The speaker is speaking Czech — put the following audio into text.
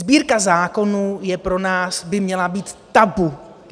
Sbírka zákonů je pro nás - by měla být - tabu.